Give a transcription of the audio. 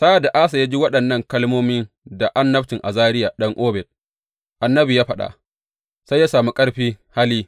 Sa’ad da Asa ya ji waɗannan kalmomin da annabcin Azariya ɗan Oded annabi ya faɗa, sai ya sami ƙarfi hali.